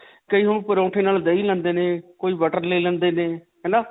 ਕਈ ਲੋਗ ਪਰੌਂਠੇ ਨਾਲ ਦਹੀ ਲੈਂਦੇ ਨੇ, ਕੋਈ butter ਲੈ ਲੈਂਦੇ ਨੇ. ਹੈ ਨਾ.